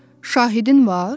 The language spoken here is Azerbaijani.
Şahidin var?